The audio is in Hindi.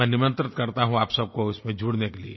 मैं निमंत्रित करता हूँ आप सब को इसमें जुड़ने के लिए